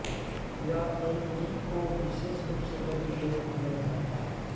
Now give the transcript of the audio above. यह N G O विशेष रूप से गरीब लोगों की मदद करता है